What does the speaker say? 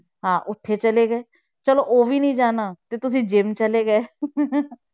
ਹਾਂ ਉੱਥੇ ਚਲੇ ਗਏ, ਚਲੋ ਉਹ ਵੀ ਨੀ ਜਾਣਾ ਤੇ ਤੁਸੀਂ gym ਚਲੇ ਗਏ